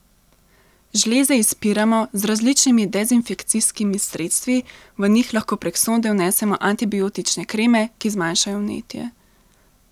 Žleze izpiramo z različnimi dezinfekcijskimi sredstvi, v njih lahko prek sonde vnesemo antibiotične kreme, ki zmanjšajo vnetje.